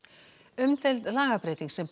umdeild lagabreyting sem